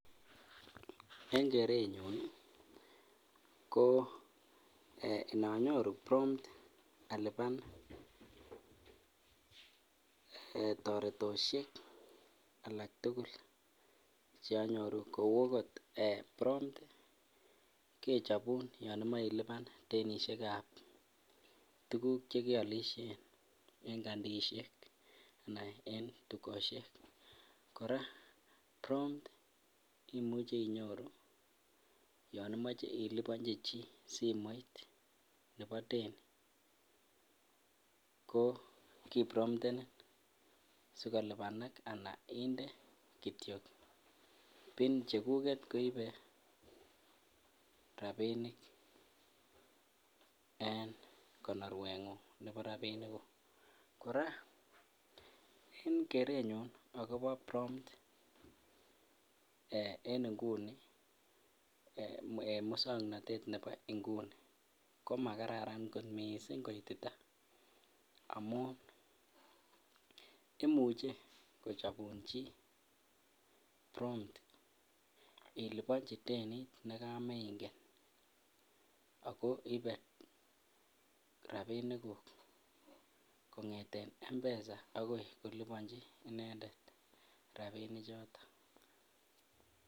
En kerenyun ko inonyoru prompt alipan toretosiek alak tugul Che anyoru kou okot prompt kechobun yon imoche ilipan denisiek ab tuguk Che ki alisien en kandisiek anan en dukosiek kora prompt imuche inyoru yon imoche ilipanji chi simoit nebo deni ko kipromptenin sikolipanak anan inde Kityo pin cheguget koibe rabinik en konorwengung nebo rabiniguk kora en kerenyun agobo prompt en nguni en moswoknatet nebo nguni koma kararan kot mising koitita amun imuche kochobun chi prompt ilibonji denit nekamo ingen ako ibe rabinikuk kongeten mpesa agoi kolipanji inendet rabinichato